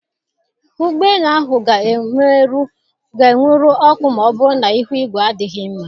Ụgbọ elu ahụ ga-enwuru ọkụ ma ọ bụrụ na ihu igwe adịghị mma.